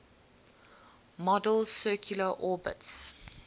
model's circular orbits